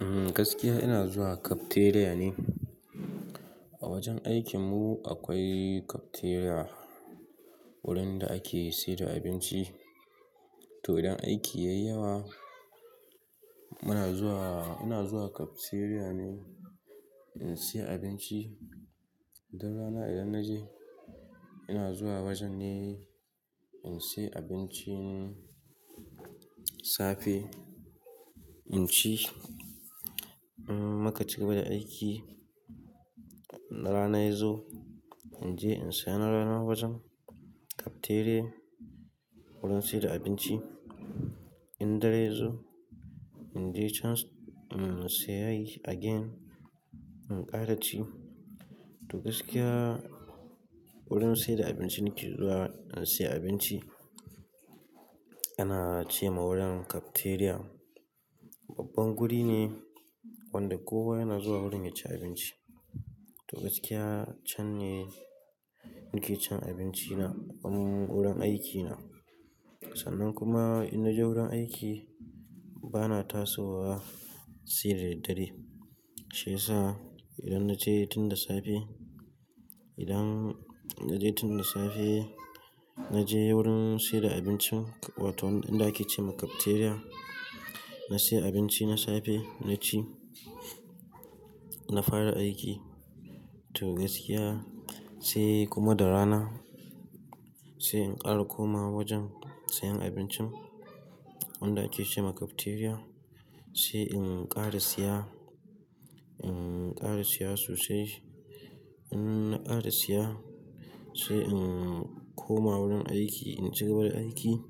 Umm, gaskiya ina zuwa cafeteria ne. A wajen aikin mu akwai cafeteria, wurin da ake sayar da abinci. To idan aiki yayi yawa muna zuwa, ina zuwa cafeteria ne in siya abinci. Dan rana idan naje ina zuwa wajen ne in siya abincin safe in ci. In mu ka ci gaba da aiki na rana yazo in je in siya na rana wajen cafeteria wurin sayar da abinci. In dare yazo in je chan in siya again in kara ci. To gaskiya wurin sayar da abinci nake zuwa in siya abinci ana ce ma wurin cafeteria. Babban guri ne wanda kowa yana zuwa wurin ya ci abinci. To gaskiya can ne nake cin abinci na a wurin aikina. Sannan kuma in naje wurin aiki bana tasowa sai da daddare. Shi yasa idan naje tun da safe, idan naje tun da safe naje wurin sayar da abincin wato inda ake ce ma cafeteria. Na siya abinci na safe na ci, na fara aiki. To gaskiya sai kuma da rana sai in kara komawa wajen sayan abincin wanda ake ce ma cafeteria. Sai in kara siya, in kara siya sosai. In na kara siya sai in koma wurin aiki, in cigaba da aiki.